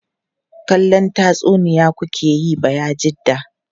Kallon tatsuniya ku ke yi Bayajidda?